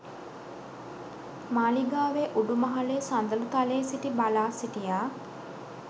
මාළිගාවේ උඩුමහලේ සඳළුතලයේ සිටි බලා සිටියා.